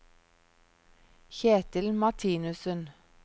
Kjetil Martinussen